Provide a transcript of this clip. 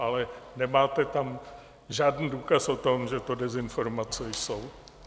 Ale nemáte tam žádný důkaz o tom, že to dezinformace jsou.